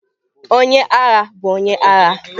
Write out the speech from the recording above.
Onye agha bụ onye agha.